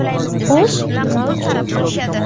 Xo‘sh, nima uchun?!